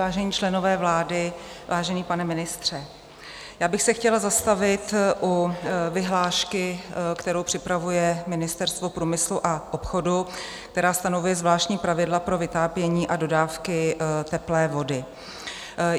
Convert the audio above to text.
Vážení členové vlády, vážený pane ministře, já bych se chtěla zastavit u vyhlášky, kterou připravuje Ministerstvo průmyslu a obchodu, která stanovuje zvláštní pravidla pro vytápění a dodávky teplé vody.